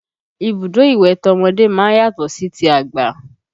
Ibùdó ìwẹ̀ tọmọdé máa ń yàtọ̀ sí ti àgbà